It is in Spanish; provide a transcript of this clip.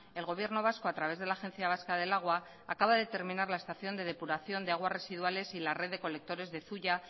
el gobierno vasco a través de la agencia vasca del agua acaba de terminar la estación de depuración de aguas residuales y la red de colectores de zuia